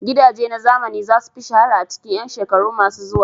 Gidaje na zamani za su fi shahara a cikin 'yan shekaru masu zuwa.